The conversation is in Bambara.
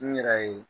N yɛrɛ ye